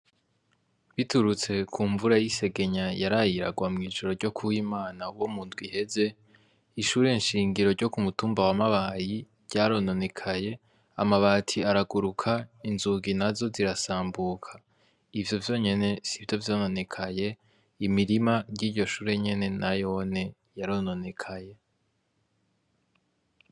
Biturutse kunvura y'isegenya yaraye iragwa mw'ijoro ryokuw'Imana wo mundw'iheze ishure nshingiro ryokumutumba wa mabayi ryarononekaye amabati araguruka inzugu nazo zirasambuka, ivyo vyonyene sivyo vyononekaye imirima y'iryo shure nayone yarononekaye.